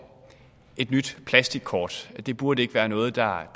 et nyt plastikkort det burde ikke være noget der